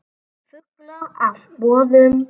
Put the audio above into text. Fulla af boðum.